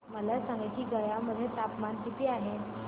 मला सांगा की गया मध्ये तापमान किती आहे